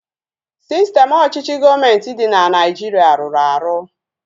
Sistem ọchịchị gọọmenti dị na Nigeria rụrụ arụ